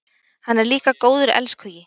Hann er líka góður elskhugi.